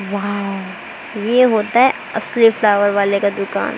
वाव ये होता है असली फ्लावर वाले का दुकान।